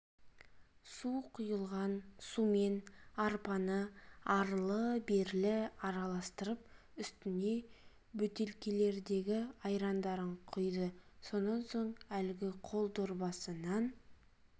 су құйылған сумен арпаны арлы-берлі араластырып үстіне бөтелкелердегі айрандарын құйды содан соң лгі қол дорбасынан